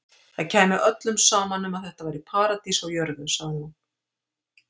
Það kæmi öllum saman um að þetta væri paradís á jörð, sagði hún.